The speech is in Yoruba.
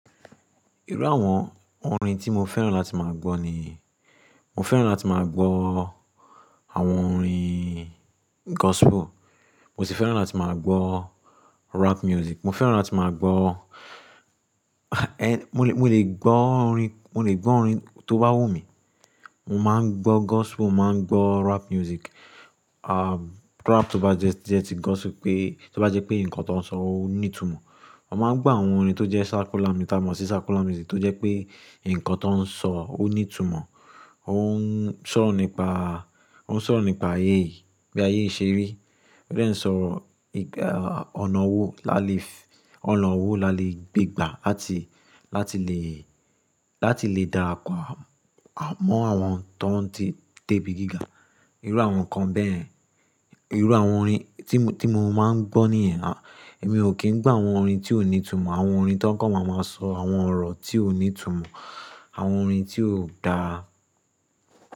Irú àwọn orin tí mo fẹ́ràn láti máa gbọ́ ni, mo fẹ́ràn láti máa gbọ́ àwọn orin gospel, mo sì fẹ́ràn láti máa gbọ́ rap music. Mo fẹ́ràn láti máa gbọ́, mo lè, mo lè gbọ́ orin, mo lè gbọ́ orin tó bá wù mí. Mo máa ń gbọ́ gospel, mo máa ń gbọ́ rap music, rap tó bá jẹ́ tí gospel pé, tó bá jẹ́ pé nǹkan tó ń sọ ó ní ìtumọ̀. Mo máa ń gbọ́ àwọn orin tó jẹ́ circular, mo tá mọ sí circular music tó jẹ́ pé nǹkan tó ń sọ ó ní ìtumọ̀, ó ń sọ̀rọ̀ nípa, ó ń sọ̀rọ̀ nípa ayé yìí, bí ayéyi ṣe ri, o de ń sọ nipà, ọ̀nà owó là lè f-- ọ̀nà owó là lè gbégbà láti, láti lè, láti lè dá àpá mọ́ àwọn tó ń ti débi gíga. Irú àwọn nǹkan bẹ́ẹ̀, irú àwọn orin tí mo, tí mo máa ń gbọ́ nìyẹn. Èmi ò kí ń gbọ́ àwọn orin tí ò ní ìtumọ̀, àwọn orin tí wọ́n kọ́ máa máa sọ àwọn ọ̀rọ̀ tí ò ní ìtumọ̀, àwọn orin tí ò dára.